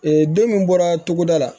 don min bɔra togoda la